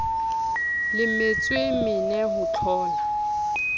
le metsoe mene ho thlola